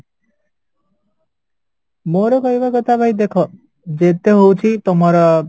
ମୋର କହିବା କଥା ଭାଇ ଦେଖା ଯେତେ ହଉଚି ତମର